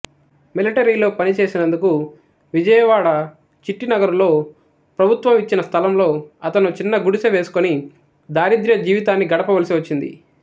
మిలటరీలో పనిచేసినందుకు విజయవాడ చిట్టినగరులో ప్రభుత్వం ఇచ్చిన స్ధలంలో అతను చిన్న గుడిసె వేసుకొని దారిద్ర్య జీవితాన్ని గడపవలసి వచ్చింది